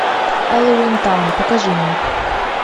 хэллоуинтаун покажи мне